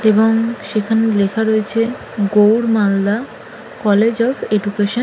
এবং সেখানে লেখা রয়েছে Gour Malda college of education --